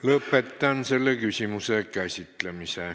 Lõpetan selle küsimuse käsitlemise.